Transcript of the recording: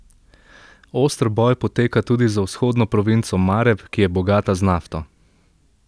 Oster boj poteka tudi za vzhodno provinco Mareb, ki je bogata z nafto.